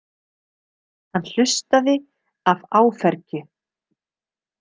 Hann hlustaði af áfergju.